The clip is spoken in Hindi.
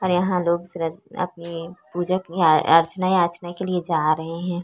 और यहाँ लोग श्र अपनी पूजा अर्चना याचना के लिए जा रहै हैं ।